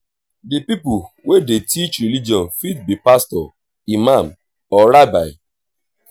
di pipo wey dey teach religion fit be pastor imam or rabbi